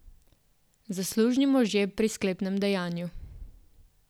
Zaslužni možje pri sklepnem dejanju.